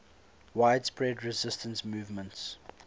widespread resistance movements